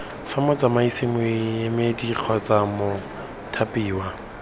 fa motsamaisi moemedi kgotsa mothapiwa